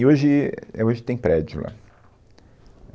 E hoje, éh, é hoje tem prédio lá.